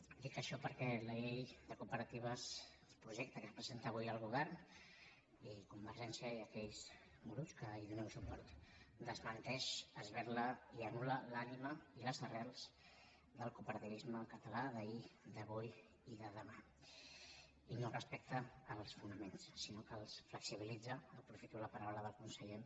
dic això perquè la llei de cooperatives el projecte que ens presenta avui el govern i convergència i aquells grups que li donen suport desmenteix esberla i anul·català d’ahir d’avui i de demà i no respecta els fonaments sinó que els flexibilitza aprofito la paraula del conseller